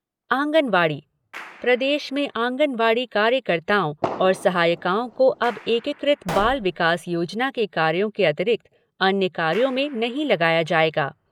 आँगनवाड़ी प्रदेश में आँगनवाड़ी कार्यकर्ताओं और सहायिकाओं को अब एकीकृत बाल विकास योजना के कार्यों के अतिरिक्त अन्य कार्यों में नहीं लगाया जायेगा।